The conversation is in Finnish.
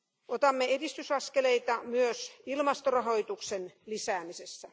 Otamme edistysaskeleita myös ilmastorahoituksen lisäämisessä.